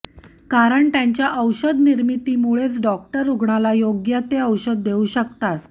कारण त्यांच्या औषध निर्मितीमुळेच डॉक्टर रुग्णाला योग्य ते औषध देऊ शकतात